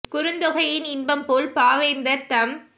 குறுந்தொகையின் இன்பம்போல் பாவேந் தர்தம்